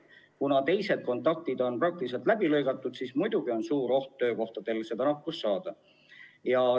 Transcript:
Kuna teised kontaktid on praktiliselt läbi lõigatud, siis muidugi on suur oht saada see nakkus töökohal.